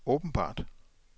åbenbart